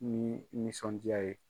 Ni nisɔndiya ye.